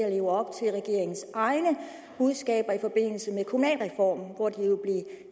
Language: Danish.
at leve op til regeringens egne budskaber i forbindelse med kommunalreformen hvor det jo blev